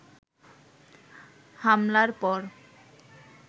হামলার পর